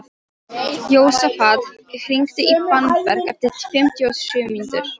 Jósafat, hringdu í Fannberg eftir fimmtíu og sjö mínútur.